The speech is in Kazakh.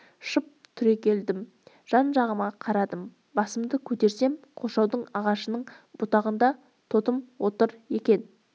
шып түрегелдім де жан-жағыма қарадым басымды көтерсем қоршаудың ағашының бұтағында тотым отыр екен